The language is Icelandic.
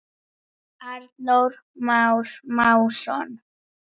Arnór Már Másson.